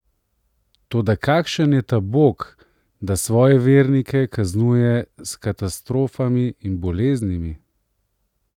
Toda kakšen je ta Bog, da svoje vernike kaznuje s katastrofami in boleznimi?